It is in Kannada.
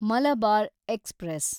ಮಲಬಾರ್ ಎಕ್ಸ್‌ಪ್ರೆಸ್